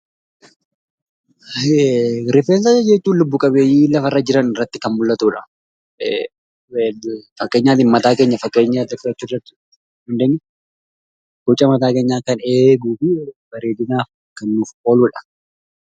Rifeensa jechuun lubbu qabeeyyii lafarra jiran irratti kan mul'atuu jechuudha. Fakkeenyaaf mataa keenya fakkeenya fudhachuu ni dandeenya. boca mataa keenyaa kan eeguufi bareedinaaf kan nuuf ooludha.